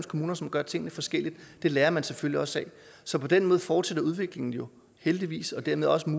kommuner som gør tingene forskelligt og det lærer man selvfølgelig også af så på den måde fortsætter udviklingen jo heldigvis og dermed også